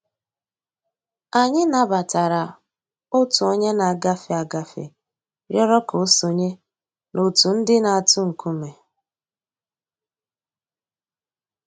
Anyị̀ nabatara Ọ̀tù ònyè nà-àgàfé àgàfé rị̀ọrọ̀ kà ò sọǹyé n'òtù ńdí nà-àtụ̀ ńkùmé̀